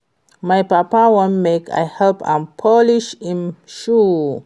My papa wan make I help am polish im shoe